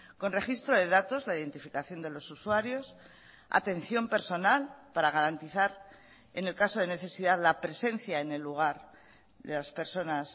con registro de datos la identificación de los usuarios atención personal para garantizar en el caso de necesidad la presencia en el lugar de las personas